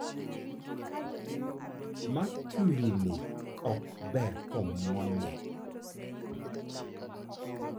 Makuri ni ok ber komwonye